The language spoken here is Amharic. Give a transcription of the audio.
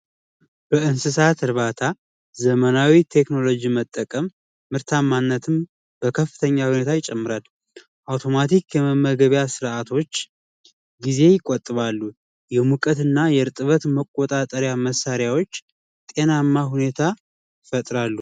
በእንስሳት እርባታ ዘመናዊ ቴክኖሎጂ መጠቀም ምርታማነትም በከፍተኛ ሁኔታ ይጨምራል አውቶማቲክ ከመመገብያ ርዓቶች ጊዜ ይቆጥባሉ የሙቀት እና የርጥበት መቆጣጠሪያ መሳሪያዎች ጤናማ ሁኔታ ይፈጥራሉ